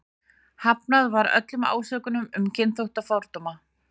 Hafnað var öllum ásökunum um kynþáttafordóma.